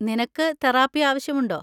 നിനക്ക് തെറാപ്പി ആവശ്യമുണ്ടോ?